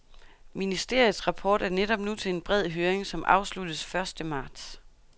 Ministeriets rapport er netop nu til en bred høring, som afsluttes første marts.